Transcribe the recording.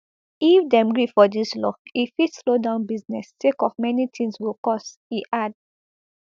if dem gree for dis law e fit slow down business sake of many tins go cost e add